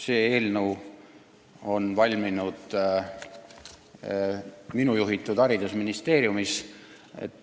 See eelnõu on valminud minu juhitud haridusministeeriumis.